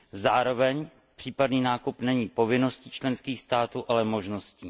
Zároveň případný nákup není povinností členských států, ale možností.